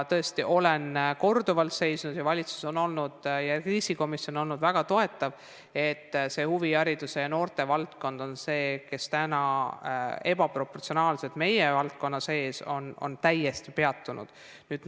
Tõesti, olen korduvalt seisnud selle eest ning valitsus ja ka kriisikomisjon on olnud väga toetavad, mõistes, et huvihariduse ja noorte valdkond on see, kus täna meie valdkonna sees on tegevus täiesti ebaproportsionaalselt peatunud.